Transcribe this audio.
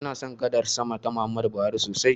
Ina son gadar sama ta Muhammadu Buhari sosai.